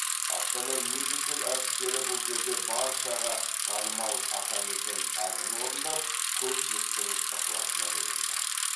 астана мюзикл әртістері бұл жерде баршаға танымал атамекен әнін орындап көпшіліктің ықыласына бөленді